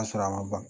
Ka sɔrɔ a ma ban